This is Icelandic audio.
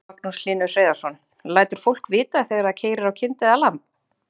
Magnús Hlynur Hreiðarsson: Lætur fólk vita þegar það keyrir á kind eða lamb?